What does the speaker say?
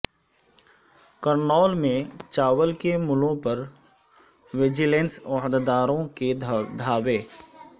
کرنول میں چاول کے ملوں پر وجیلنس عہدیداروں کے دھاوے